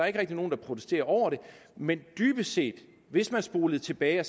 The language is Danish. ikke rigtig nogen der protesterer over det men dybest set hvis vi spolede tilbage og